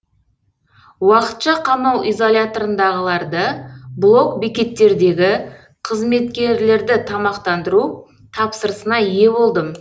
уақытша қамау изоляторындағыларды блок бекеттердегі қызметкерлерді тамақтандыру тапсырысына ие болдым